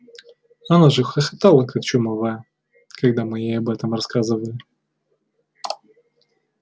она же хохотала как чумовая когда мы ей об этом рассказывали